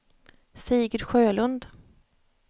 Sigurd Sjölund